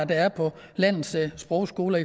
der er på landets sprogskoler